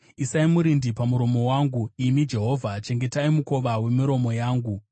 Isai murindi pamuromo wangu, imi Jehovha; chengetai mukova wemiromo yangu.